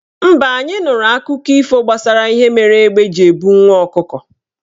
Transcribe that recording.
Mba, anyị nụrụ akụkọ ifo gbasara ihe mere égbé ji ebu nwa ọkụkọ.